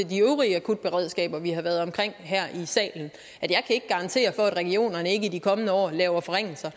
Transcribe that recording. de øvrige akutberedskaber vi har været omkring her i salen at jeg kan ikke garantere for at regionerne ikke i de kommende år laver forringelser